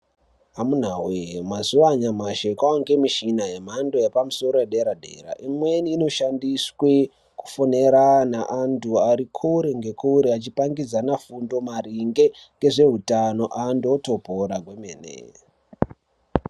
Amuna woye mazuwa anyashi kwaa yemichina yemhado yepamusoro yederadera imweni inoshandiswe kufonera naantu ari kure ngekure achipangidzana fundo maringe nezveutano antu otopora kwemene.